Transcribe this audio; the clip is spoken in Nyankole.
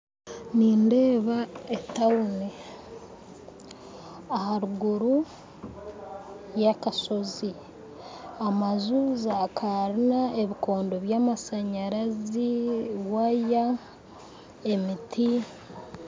Nindeeba etawuni aharuguru y'akashozi amaju, za Karina ebikondo by'amashanyarazi waaya emiti